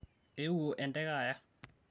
eewuo enteke aya